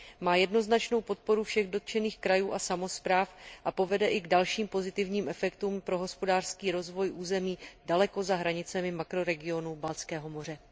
Má jednoznačnou podporu všech dotčených krajů a samospráv a povede i k dalším pozitivním efektům pro hospodářský rozvoj území daleko za hranicemi makroregionu Baltského moře.